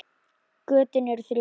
Götin eru þrjú.